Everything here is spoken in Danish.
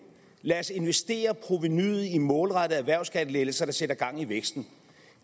lad os investere provenuet i målrettede erhvervsskattelettelser der sætter gang i væksten